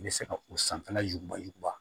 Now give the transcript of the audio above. I bɛ se ka o sanfɛla juguman bali kuba